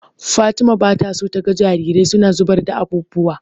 Fatima bata so taga jarirai suna zubar da abubuwa.